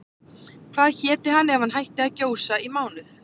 Hvað héti hann ef hann hætti að gjósa í mánuð?